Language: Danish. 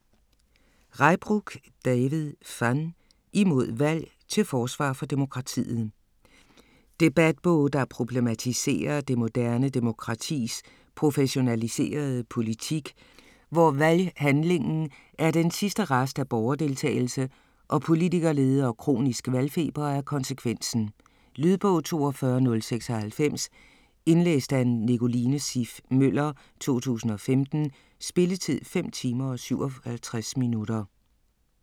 Reybrouck, David van: Imod valg: til forsvar for demokratiet Debatbog, der problematiserer det moderne demokratis professionaliserede politik, hvor valghandlingen er den sidste rest af borgerdeltagelse, og politikerlede og kronisk valgfeber er konsekvensen. Lydbog 42096 Indlæst af Nicoline Siff Møller, 2015. Spilletid: 5 timer, 57 minutter.